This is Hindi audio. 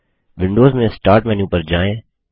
विंडोज में स्टार्ट मेन्यू पर जाएँ